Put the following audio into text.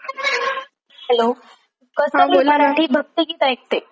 हा बोला मी भक्तीगीत ऐकते सकाळी सकाळी काम करतांना. हॅलो